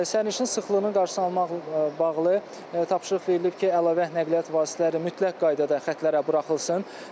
Sərnişin sıxlığının qarşısını almaqla bağlı tapşırıq verilib ki, əlavə nəqliyyat vasitələri mütləq qaydada xətlərə buraxılsın.